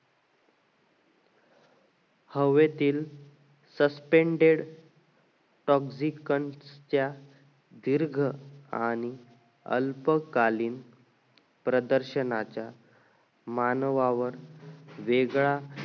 हवेतील suspended पुफझी कण कच्या दीर्घ आणि अल्पकालीन मानवावर वेगळा